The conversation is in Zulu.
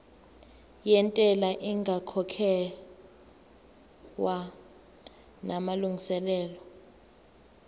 yentela ingakakhokhwa namalungiselo